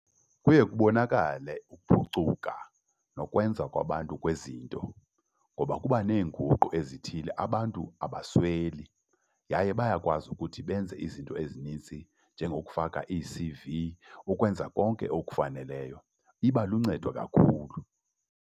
Kuye kubonakale ukuphucuka nokwenza kwabantu kwezinto ngoba kuba neenguqu ezithile. Abantu abasweli yaye bayakwazi ukuthi benze izinto ezinintsi njengokufaka iiC_V, ukwenza konke okufaneleyo. Iba luncedo kakhulu.